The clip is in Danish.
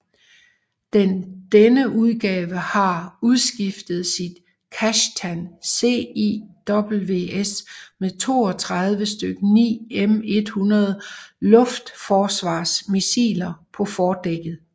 Den denne udgave har udskiftet sit Kashtan CIWS med 32 styk 9M100 luftforsvarsmissiler på fordækket